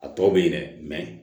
A tɔ bɛ ye dɛ